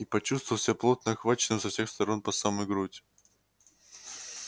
и почувствовал себя плотно охваченным со всех сторон по самую грудь